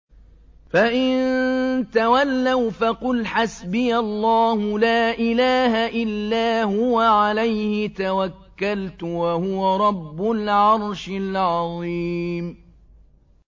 فَإِن تَوَلَّوْا فَقُلْ حَسْبِيَ اللَّهُ لَا إِلَٰهَ إِلَّا هُوَ ۖ عَلَيْهِ تَوَكَّلْتُ ۖ وَهُوَ رَبُّ الْعَرْشِ الْعَظِيمِ